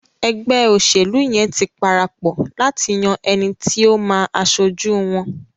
ègbé òṣèlú yén tí parapò láti yàn ẹní tí o má aṣojú wón.